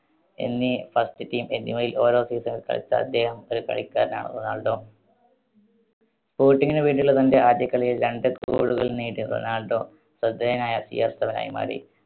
എന്നീ first team എന്നിവയിൽ ഓരോ season ൽ കളിച്ച അദ്ദേഹം ഒരു കളിക്കാരനാണ് റൊണാൾഡോ. sporting ന് വേണ്ടിയുള്ള തന്റെ ആദ്യ കളിയിൽ രണ്ട് goal കൾ നേടി റൊണാൾഡോ ശ്രദ്ധേയനായ CR7 യി മാറി.